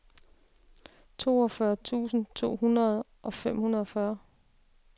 toogfyrre tusind to hundrede og femogfyrre